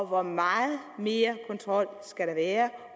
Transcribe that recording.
hvor meget mere kontrol skal der være